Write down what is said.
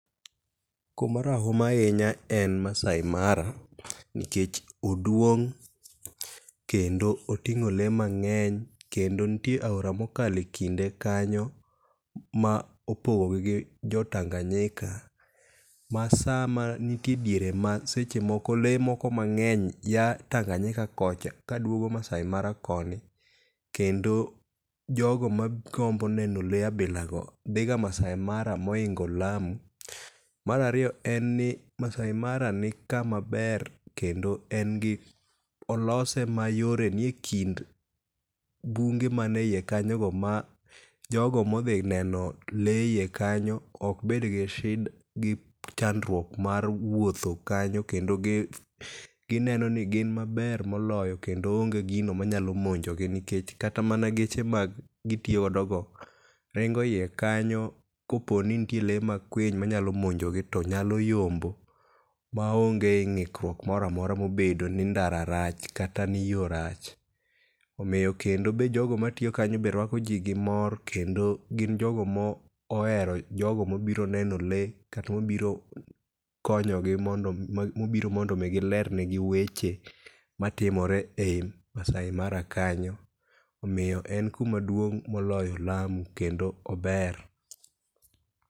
Kuma rahuma ahinya en Maasai Mara, nikech oduong' kendo oting'o lee mang'eny. Kendo nitie aora mokalo ekinde kanyo ma opogogi gi jo Tanganyika ma sa nitie ediere ma lee moko mang'eny aa Tanganyika kocha kaduogo Maasai Mara koni kendo jogo magombo neno lee ainago dhi Maasai Mara mohingo Lamu. Mar ariyo en ni Maasai Mara nikama ber kendo en gi olose mayore nie kind bunge man eiye kanyogo ma jogo modhi neno lee eiye kanyo ok bed gi chandruok mar wuotho kanyo nendo nigin maber moloyo maonge gino manyalo monjo gi nikech kata mana geche magitiyo godo go ringo eiye kanyo kopo ni nnitie lee makwiny manyalo monjogi to nyalo yombo maonge ng'ikruok moro amora mobedo ni ndara rach kata ni yoo rach. Omiyo be kendo jogo matiyo kanyo be ruako ji gimor kendo gin jogo mohero jogo mobiro neno lee kata jogo mobiro kondo mi giler negi weche matimore ei Maasai Mara kanyo omiyo en kuma duong#molyo Lamu kendo ober